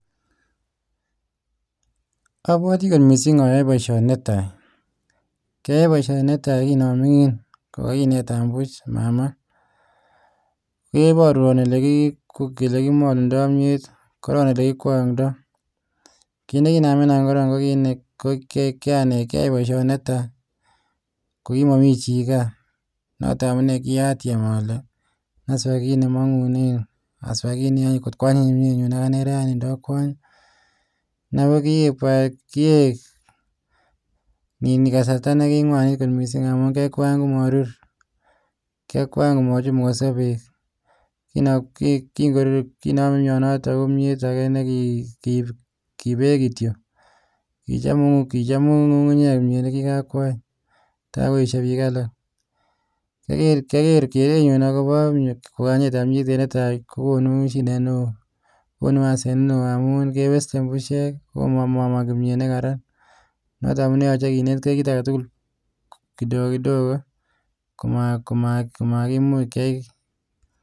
Apwatiii aai poshonii netaii koamingin kokineta kamenyuun kiinetaa olekikwangdai akatyem anai oleouuu akieek kasarta nikiuiiii mising kiachop kimnyeet nekimingin